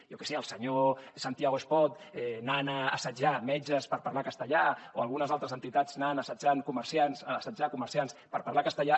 jo què sé el senyor santiago espot anant a assetjar metges per parlar castellà o algunes altres entitats anant a assetjar comerciants per parlar castellà